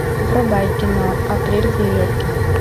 врубай кино апрель в нью йорке